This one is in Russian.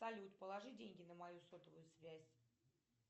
салют положи деньги на мою сотовую связь